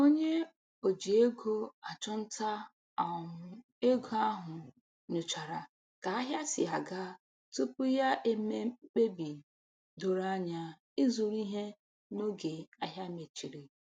Onye o ji ego achụnta um ego ahụ nyochara ka ahịa si aga tupu ya eme mkpebi doro anya ịzụrụ ihe n'oge ahịa mechiri.